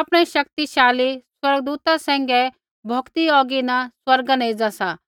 आपणै शक्तिशाली स्वर्गदूता सैंघै भौकदी औगी न स्वर्गा न एज़ा सा